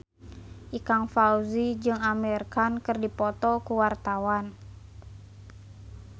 Ikang Fawzi jeung Amir Khan keur dipoto ku wartawan